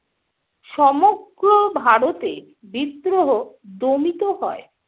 সমগ্র ভারতে বিদ্রোহ দমিত হয়।